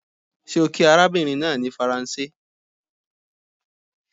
ṣe o kí arabinrin naa ni Faranse?